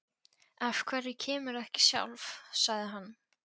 Af hverju kemurðu ekki sjálf? sagði hann.